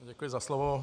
Děkuji za slovo.